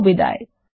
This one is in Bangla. শুভবিদায়